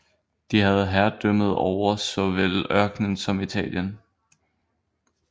De havde herredømmet over såvel ørkenen som italienerne